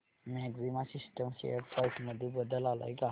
maxima Systems share price मध्ये बदल आलाय का